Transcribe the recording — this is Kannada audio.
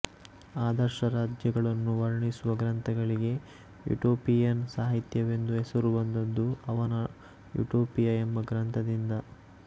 ಆದರ್ಶರಾಜ್ಯಗಳನ್ನು ವರ್ಣಿಸುವ ಗ್ರಂಥಗಳಿಗೆ ಯುಟೋಪಿಯನ್ ಸಾಹಿತ್ಯವೆಂದು ಹೆಸರು ಬಂದುದು ಅವನ ಯುಟೋಪಿಯ ಎಂಬ ಗ್ರಂಥದಿಂದ